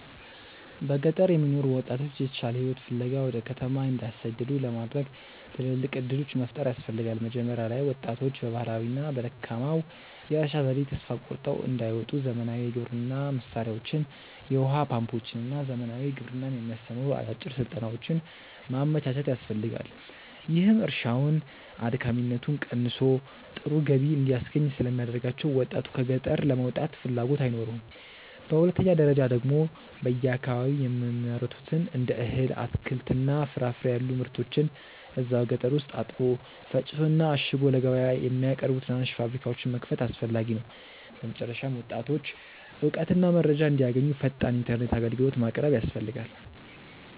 በገጠር የሚኖሩ ወጣቶች የተሻለ ሕይወት ፍለጋ ወደ ከተማ እንዳይሰደዱ ለማድረግ ትልልቅ ዕድሎች መፍጠር ያስፈልጋ። መጀመሪያ ላይ ወጣቶች በባህላዊውና በደካማው የእርሻ ዘዴ ተስፋ ቆርጠው እንዳይወጡ ዘመናዊ የግብርና መሣሪያዎችን፣ የውኃ ፓምፖችንና ዘመናዊ ግብርናን የሚያስተምሩ አጫጭር ሥልጠናዎችን ማመቻቸት ያስፈልጋል፤ ይህም እርሻውን አድካሚነቱ ቀንሶ ጥሩ ገቢ እንዲያስገኝ ስለሚያደርጋቸው ወጣቱ ከገጠር ለመውጣት ፍላጎት አይኖረውም። በሁለተኛ ደረጃ ደግሞ በየአካባቢው የሚመረቱትን እንደ እህል፣ አትክልትና ፍራፍሬ ያሉ ምርቶችን እዛው ገጠር ውስጥ አጥቦ፣ ፈጭቶና አሽጎ ለገበያ የሚያቀርቡ ትናንሽ ፋብሪካዎችን መክፈት አስፈላጊ ነው። በመጨረሻም ወጣቶች እውቀትና መረጃ እንዲያገኙ ፈጣን ኢተርኔት አግልግሎት ማቅረብ ያስፈልጋል